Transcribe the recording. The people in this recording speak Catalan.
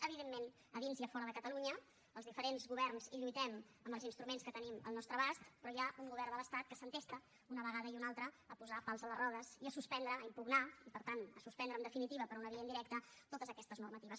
evidentment a dins i a fora de catalunya els diferents governs hi lluitem amb els instruments que tenim al nostre abast però hi ha un govern de l’estat que s’entesta una vegada i una altra a posar pals a les rodes i a suspendre a impugnar i per tant a suspendre en definitiva per una via indirecta totes aquestes normatives